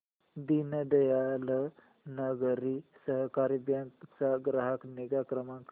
दीनदयाल नागरी सहकारी बँक चा ग्राहक निगा क्रमांक